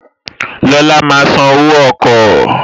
Lọla máa san owó ọkọ̀